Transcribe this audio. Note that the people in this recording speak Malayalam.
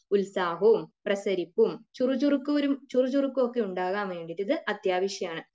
ഉത്സാഹവും പ്രസരിപ്പും ചുറുചുറുക്കും ഒക്കെ ഉണ്ടാകാൻ വേണ്ടീട്ട് ഇത് അത്യാവശ്യമാണ്.